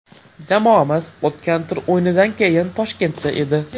Jamoamiz o‘tgan tur o‘yinidan keyin Toshkentda edi.